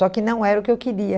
Só que não era o que eu queria.